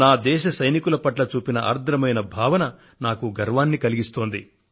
నా దేశ సైనికుల పట్ల చూపిన ఆర్ద్రమైన భావన నాలో గర్వాన్ని నింపుతోంది